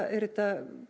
er þetta